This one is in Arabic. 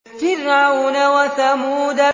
فِرْعَوْنَ وَثَمُودَ